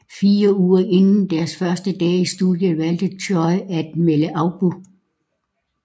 Fire uger inden deres første dag i studiet valgte Choy at melde afbud